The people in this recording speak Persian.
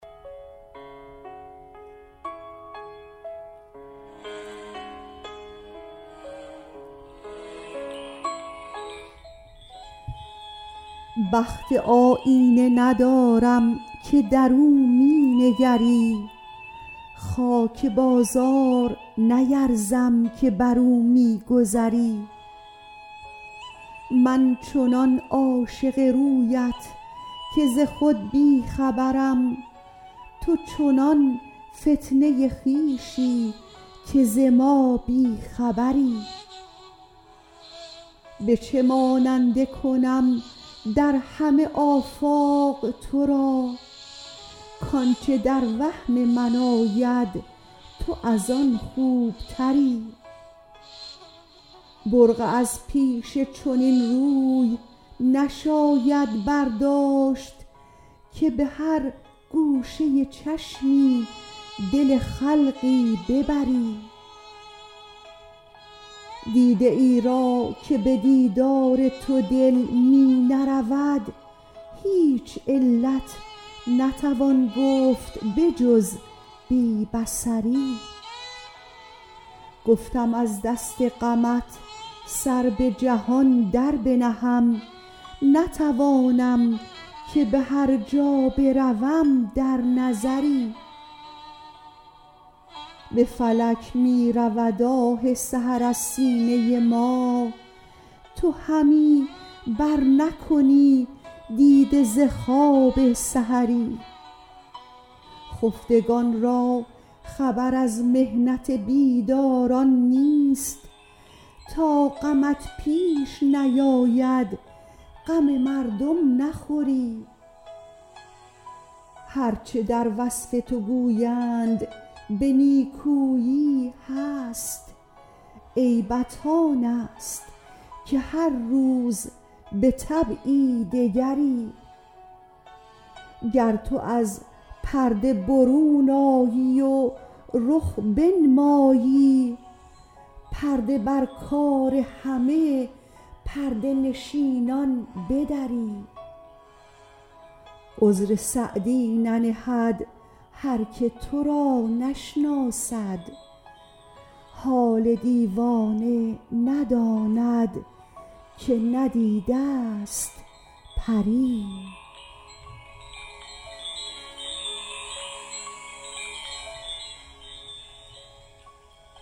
بخت آیینه ندارم که در او می نگری خاک بازار نیرزم که بر او می گذری من چنان عاشق رویت که ز خود بی خبرم تو چنان فتنه خویشی که ز ما بی خبری به چه ماننده کنم در همه آفاق تو را کآنچه در وهم من آید تو از آن خوبتری برقع از پیش چنین روی نشاید برداشت که به هر گوشه چشمی دل خلقی ببری دیده ای را که به دیدار تو دل می نرود هیچ علت نتوان گفت به جز بی بصری گفتم از دست غمت سر به جهان در بنهم نتوانم که به هر جا بروم در نظری به فلک می رود آه سحر از سینه ما تو همی برنکنی دیده ز خواب سحری خفتگان را خبر از محنت بیداران نیست تا غمت پیش نیاید غم مردم نخوری هر چه در وصف تو گویند به نیکویی هست عیبت آن است که هر روز به طبعی دگری گر تو از پرده برون آیی و رخ بنمایی پرده بر کار همه پرده نشینان بدری عذر سعدی ننهد هر که تو را نشناسد حال دیوانه نداند که ندیده ست پری